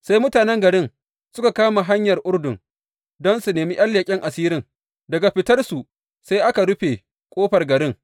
Sai mutanen garin suka kama hanyar Urdun don su nemi ’yan leƙen asirin, daga fitar su sai aka rufe ƙofar garin.